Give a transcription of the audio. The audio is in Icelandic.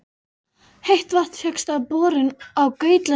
Heitt vatn fékkst með borun á Gautlöndum í